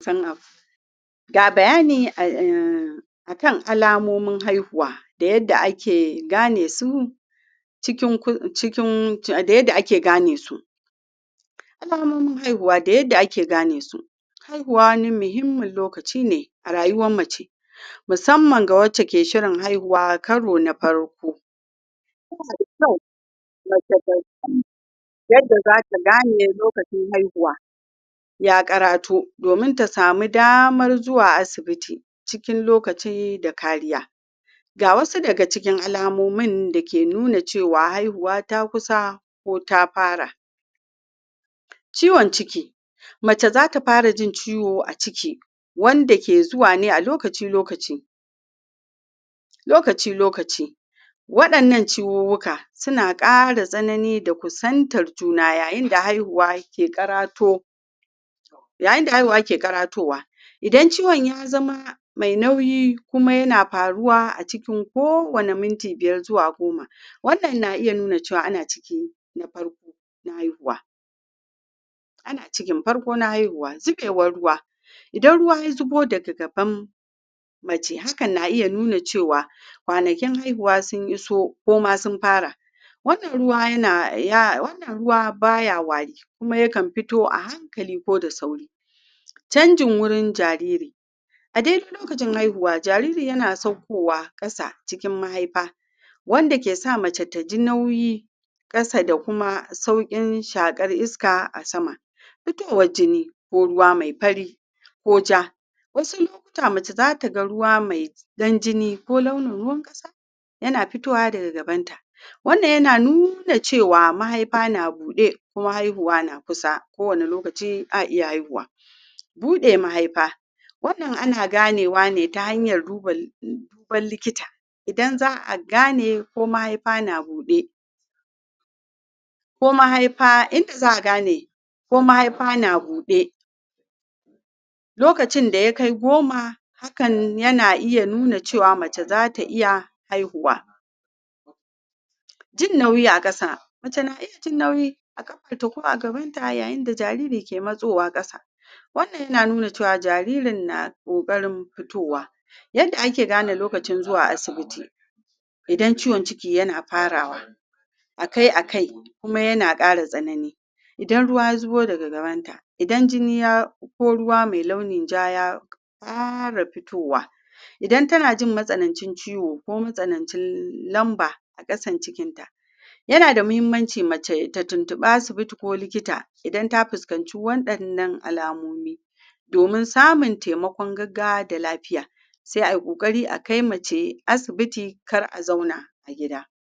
turnoff ga bayani um akan alamomin haihuwa da yadda ake gane su cikin da yadda ake gane su alamomin haihuwa da yadda ake gane su haihuwa wani muhimman lokaci ne a rayuwan mace musamman wace ke shirin haihuwa karo na farko yana da kyau mace ta san yadda za ta gane lokacin haihuwa ya karato domin ta samu damar zuwa asibiti cikin lokaci da kariya ga wasu daga cikin alamomi da ke nuna cewa haihuwa ta kusa ko ta fara ciwon ciki mace zata fara jin ciwo a ciki wande ke zuwa ne a lokaci lokaci lokaci lokaci wadannan ciwuwuka suna kara sanani da kusantar juna yayin da haihuwa ke karato yayin da haihuwa ke karatowa idan ciwon ya zama mai nauyi kuma ya na faruwa a cikin ko wane minti biyar zuwa goma wannan na iya nuna cewa ana ciki na farko na haihuwa ana ciki farko na haihuwa zubewar ruwa idan ruwa ya zubo daga gaban mace hakan na iya nuna cewa kwanakin haihuwa sun iso ko ma sun fara wannan ruwa baya wari kuma yakan fito a hankali koda sauri canjin wurin jariri a daidai lokacin haihuwa jariri yana saukowa kasa cikin mahaifa wande ke sa mace ta ji nauyi kasa kuma saukin shakar iska a sama fitowar jini ko ruwa mai fari ko ja wasu lokuta mace za ta ga ruwa mai dan jini ko launin ruwan kasa yana fitowa daga gaban ta wannan yana nuna cewa mahaifa na bude kuma haihuwa na kusa kowane lokaci a iya haihuwa bude mahaifa wannan ana ganewa ne ta hanyar duba likita idan za'a gane ko magaifa na bude ko mahaifa inda za'a gane ko mahaifa na bude lokacin da ya kai goma hakan yana iya nuna cewa mace zata iya haihuwa jin nauyi a kasa [??] ya yi nauyi a kafan ta ko a gaban ta yayin da jariri ke masowa kasa wannan yana nuna cewa jaririn na kokarin fitowa yadda ake gane lokacin zuwa asibiti idan ciwon ciki yana farawa akai akaikuma yana kara tsanani idan ruwa ya zubo daga gaban ta idan jini ya ko ruwa mai launin ja ya kara fitowa idan ta na jin masananci ciwo ko masanancin lamba a kasan cikin ta yana da muhimmanci mace ta tintibi likita idan ta fiskanci wadannan alamomi domin samin taimako gaggawa da lafiya saia yi kokari a kai mace asibiti kar a zauna a gida